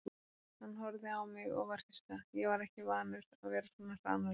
Hann horfði á mig og var hissa, ég var ekki vanur að vera svona hranalegur.